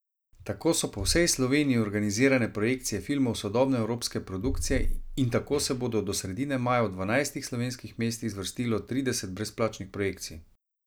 Tako so po vsej Sloveniji organizirane projekcije filmov sodobne evropske produkcije in tako se bo do sredine maja v dvanajstih slovenskih mestih zvrstilo trideset brezplačnih projekcij.